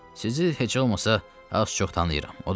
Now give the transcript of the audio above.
Sizi heç olmasa az-çox tanıyıram.